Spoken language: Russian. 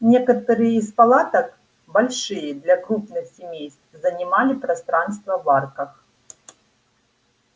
некоторые из палаток большие для крупных семейств занимали пространство в арках